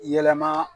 Yɛlɛma